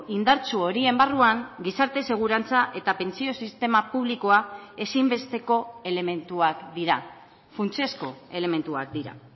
indartsu horien barruan gizarte segurantza eta pentsio sistema publikoa ezinbesteko elementuak dira funtsezko elementuak dira